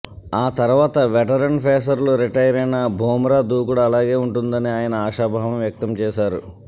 ఆ తర్వాత వెటరన్ పేసర్లు రిటైరైనా బుమ్రా దూకుడు అలాగే ఉంటుందని ఆయన ఆశాభావం వ్యక్తం చేశారు